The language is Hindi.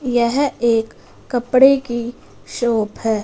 येह एक कपड़े की शॉप हैं।